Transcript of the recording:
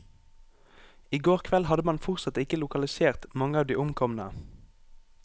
I går kveld hadde man fortsatt ikke lokalisert mange av de omkomne.